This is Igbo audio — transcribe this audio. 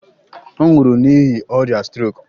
Ọ nwụrụ n'ihi ọrịa strok.